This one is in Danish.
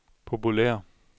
populære